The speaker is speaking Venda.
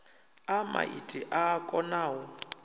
a maiti a a konau